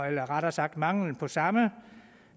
eller rettere sagt manglen på samme